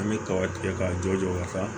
An bɛ kaba tigɛ ka jɔ ka taa